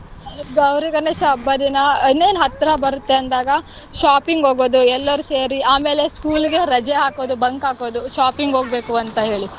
ಗೌರಿ ಗಣೇಶ ಹಬ್ಬ ದಿನ ಇನ್ನೇನ್ ಹತ್ರ ಬರುತ್ತೆ ಅಂದಾಗ shopping ಹೋಗೋದು ಎಲ್ಲರು ಸೇರಿ, ಆಮೇಲೆ school ಗೆ ರಜೆ ಹಾಕೋದು bunk ಹಾಕೋದು shopping ಹೋಗ್ಬೇಕು ಅಂತ ಹೇಳಿ